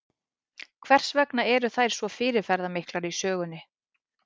Hvers vegna eru þær svo fyrirferðamiklar í sögunni?